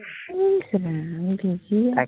ইচ Ram, busy আছো